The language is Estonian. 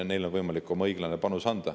Neil on võimalik oma õiglane panus anda.